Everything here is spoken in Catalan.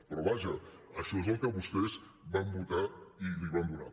però vaja això és el que vostès van votar i li van donar